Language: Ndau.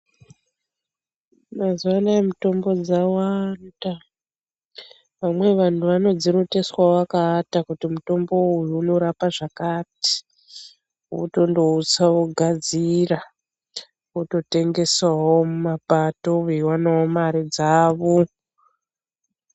Mazuva anaya mitombo dzawanda .Vamweni vantu vanodziroteswa vakaata kuti mutombo uyu unorapa zvakati, votondoutsa ,vogadzira ,vototengesawo mumapato veionavo mari dzavo.